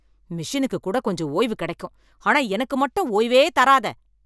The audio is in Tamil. மெஷினுக்கு கூட கொஞ்சம் ஓய்வு கிடைக்கும் ஆனா எனக்கு மட்டும் ஓய்வே தராத.